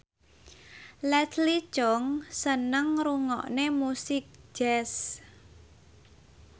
Leslie Cheung seneng ngrungokne musik jazz